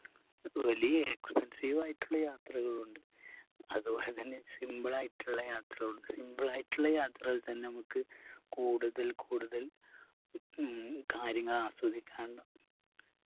വലിയ expensive ആയിട്ടുള്ള യാത്രകളുണ്ട് അതുപോലെ തന്നെ simple ആയിട്ടുള്ള യാത്രയുണ്ട് simple ആയിട്ടുള്ള യാത്രകൾ തന്നെ മ്മക്ക് കൂടുതൽ കൂടുതൽ ഉം കാര്യങ്ങൾ ആസ്വദിക്കാൻ